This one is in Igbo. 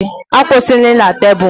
Akwụsịla na tebụl!